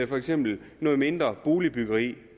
for eksempel noget mindre boligbyggeri